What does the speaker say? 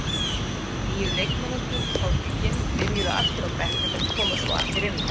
Nýju leikmennirnir hjá Huginn byrjuðu allir á bekknum, en komu svo allir inn á.